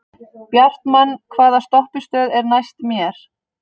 Bjartmann, hvaða stoppistöð er næst mér?